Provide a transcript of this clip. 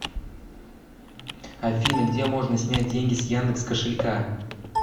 афина где можно снять деньги с яндекс кошелька